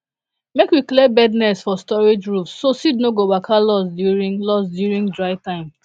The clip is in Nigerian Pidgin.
make we clear bird nest for storage roof so seed no go waka loss during loss during dry time